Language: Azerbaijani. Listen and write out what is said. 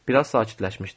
Bir az sakitləşmişdi.